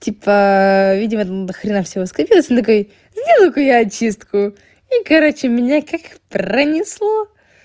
типа видео до хрена всего скопилось я такой сделаю ка я очистку и короче меня как пронесло